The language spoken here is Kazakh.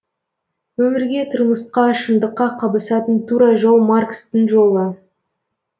өмірге тұрмысқа шындыққа қабысатын тура жол маркстың жолы